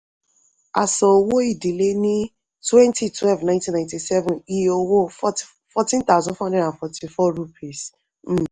a san owó-ìdílé ní twenty twelve nineteen ninety-seven iye owó fourteen thousand four hundred and forty-four rupees